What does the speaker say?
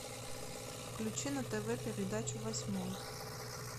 включи на тв передачу восьмой